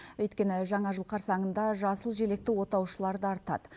өйткені жаңа жыл қарсаңында жасыл желекті отаушылар да артады